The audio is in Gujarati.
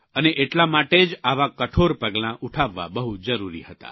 અને એટલા માટે જ આવા કઠોળ પગલાં ઉઠાવવા બહુ જરૂરી હતા